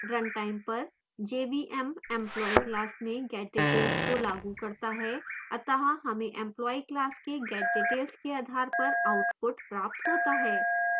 run time पर jvm employee class में getdetails को लागू करता है अत: हमें employee class के getdetails के आधार पर output प्राप्त होता है